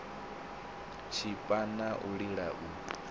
tshipa na u lila u